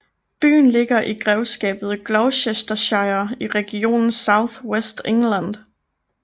Byen ligger i grevskabet Gloucestershire i regionen South West England